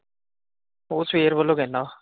ਉਹ ਸਵੇਰ ਵੱਲੋ ਕਹਿੰਦਾ।